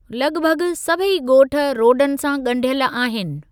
लॻभॻ सभई ॻोठ रोडन सां ॻंढियल आहिनि।